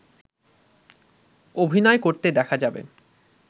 অভিনয় করতে দেখা যাবে